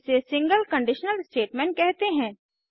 इसे single conditional statement कहते हैं